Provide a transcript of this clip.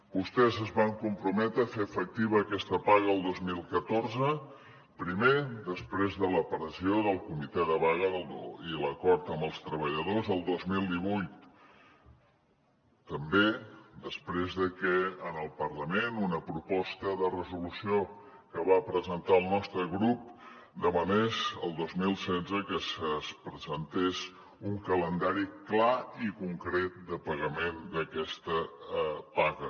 vostès es van comprometre a fer efectiva aquesta paga el dos mil catorze primer després de la pressió del comitè de vaga i l’acord amb els treballadors el dos mil divuit també després de que en el parlament una proposta de resolució que va presentar el nostre grup demanés el dos mil setze que es presentés un calendari clar i concret de pagament d’aquesta paga